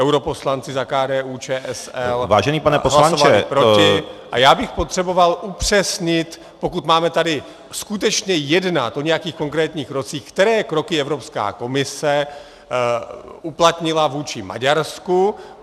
Europoslanci za KDU-ČSL hlasovali proti -- a já bych potřeboval upřesnit, pokud máme tady skutečně jednat o nějakých konkrétních krocích, které kroky Evropská komise uplatnila vůči Maďarsku.